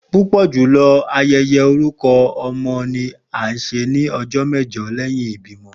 Pupọ julọ ayẹyẹ orukọ ọmọ ni a ṣe ni ọjọ mẹjọ lẹhin ibimọ.